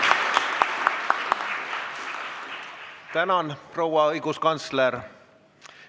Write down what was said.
Tänan, proua õiguskantsler!